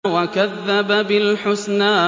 وَكَذَّبَ بِالْحُسْنَىٰ